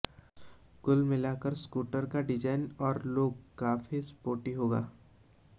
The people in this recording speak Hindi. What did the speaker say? कुल मिलकर स्कूटर का डिजाइन और लुक काफी स्पोर्टी होगा